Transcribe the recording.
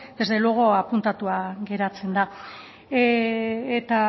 desde luego apuntatua geratzen da eta